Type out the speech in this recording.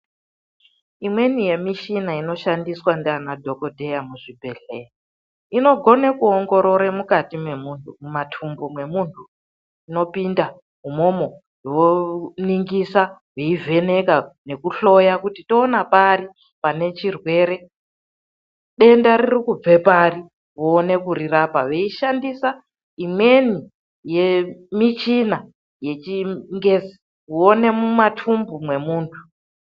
Imweni yemichina inoshandiswa ngaana dhokodheya muzvibhedhlera, inogone kuongorore mukati mwemunthu, kumathumbu kwemunthu inopinda umwomwo yoningisa yeivheneka nekuhloya kuti toona pari pane chirwere, denda riri kubvapari voone kurirapa veishandisa imweni yemichina yechingezi kuone mumathumbu mwemunthu.